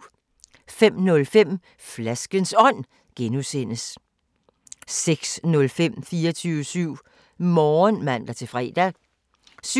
05:05: Flaskens Ånd (G) 06:05: 24syv Morgen (man-fre) 07:05: